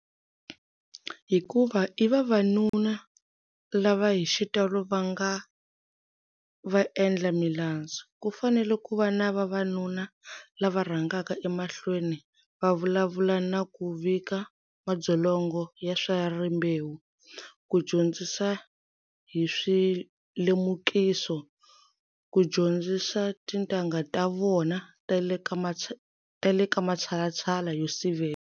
Hikuva i vavanuna lava hi xitalo va nga vaendlamilandzu, ku fanele ku va na vavanuna lava rhangaka emahlweni va vulavula na ku vika madzolonga ya swa rimbewu, ku dyondzisa hi swilemukiso, ku dyondzisa tintangha ta vona ta le ka matshalatshala yo sivela.